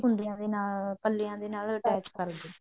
ਕੁੰਦਿਆ ਦੇ ਨਾਲ ਪੱਲਿਆਂ ਦੇ attach ਕਰਦੋ